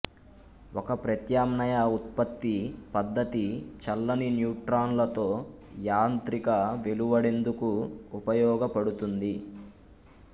ఒక ప్రత్యామ్నాయ ఉత్పత్తి పద్ధతి చల్లని న్యూట్రాన్లతో యాంత్రిక వెలువడేందుకు ఉపయొగపడుతుంది